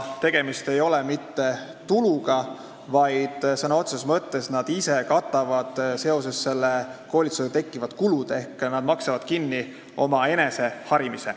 Tegemist ei ole mitte tuluga, sõna otseses mõttes nad ise katavad selle koolitusega tekkivad kulud ehk nad maksavad kinni omaenese harimise.